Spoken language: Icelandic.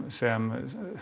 sem